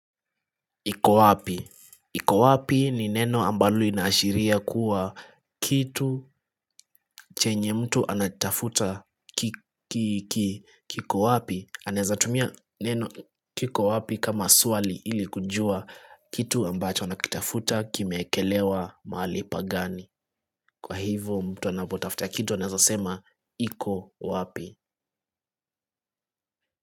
Iko wapi? Iko wapi ni neno ambalo inashiria kuwa kitu chenye mtu anatafuta kiko wapi. Anaezatumia neno kiko wapi kama suali ili kujua kitu ambacho anakitafuta kimekelewa mahali pagani. Kwa hivyo mtu anabotafta kitu anaezasema iko wapi.